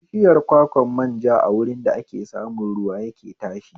Bishiyar kwakwan manja a wurin da ake samun ruwa yake tashi